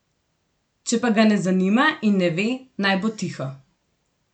Če pa ga ne zanima in ne ve, naj bo tiho.